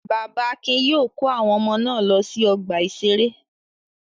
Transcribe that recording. Bàbá Akin yóò kó àwọn ọmọ náà lọ sí ọgbà-ìṣeré.